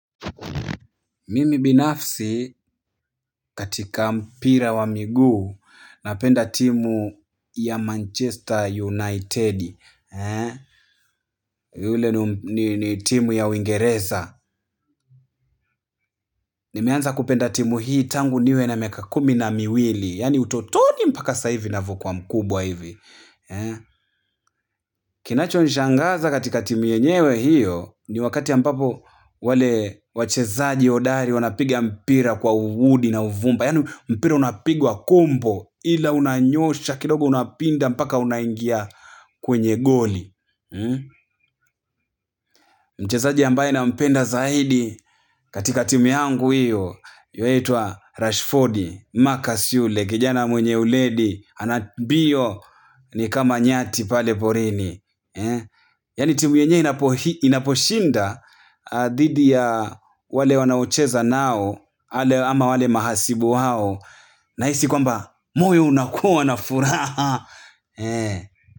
Mimi binafsi, katika mpira wa miguu napenda timu ya Manchester United. Yule ni timu ya Uingereza. Nimeanza kupenda timu hii tangu niwe na miaka kumi na miwili. Yani utotoni mpaka sasa hivi ninavokuwa mkubwa hivi. Kinachonishangaza katika timu yenyewe hiyo, ni wakati ambapo wale wachezaji hodari wanapiga mpira juhudi na uvumbi yaani, mpira unapigwa kombo, ila unanyosha kidogo unapinda mpaka unaingia kwenye goli. Mchezaji ambaye nampenda zaidi, katika timu yangu hiyo, yuaitwa Rashford, Marcus yule, kijana mwenye uledi, ana mbiyo, ni kama nyati pale porini. Yaani timu yenye inaposhinda, dhidi ya, wale wanaocheza nao, ama wale mahasibu wao nahisi kwamba, moyo unakuwa na furaha.